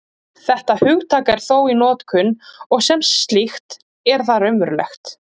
Þetta hugtak er þó í notkun, og sem slíkt er það raunverulegt.